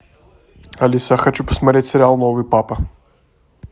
алиса хочу посмотреть сериал новый папа